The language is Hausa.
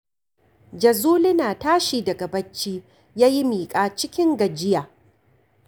Jazuli na tashi daga bacci ya yi miƙa cikin gajiya